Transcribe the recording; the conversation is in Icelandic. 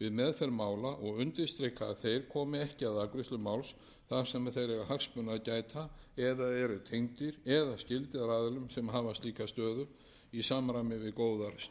við meðferð mála og undirstrika að þeir komi ekki að afgreiðslu máls þar sem þeir eiga hagsmuna að gæta eða eru tengdir eða skyldir aðilum sem hafa slíka stöðu í samræmi við góðar stjórnsýslureglur